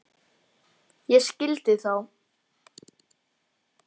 Ég skildi þá.